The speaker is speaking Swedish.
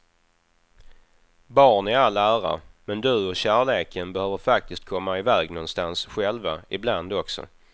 Barn i all ära, men du och kärleken behöver faktiskt komma iväg någonstans själva ibland också.